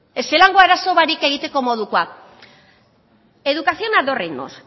ezelango arazo barik egiteko moduakoak educación a dos reinos